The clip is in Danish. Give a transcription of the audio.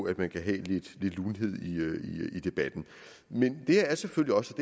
at man kan have lidt lune i debatten men det er selvfølgelig også